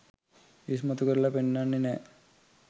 ඉස්මතු කරල පෙන්නන්නෙ නෑ.